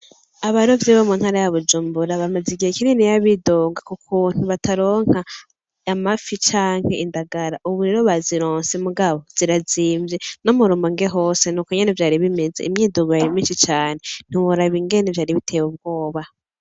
Abarovyi bo muntara ya bujumbura amaze igihe kininiya bidoga kukuntu bataronka amafi canke indagara ubu rero bazirose mugabo zirazimvye no murumonge hose nuko nyene vyari bimeze imyidogo yari myishi cane ntiworaba ingene vyari biteye ubwoba